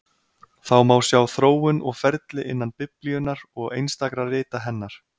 Það má sjá þróun og ferli innan Biblíunnar og einstakra rita hennar.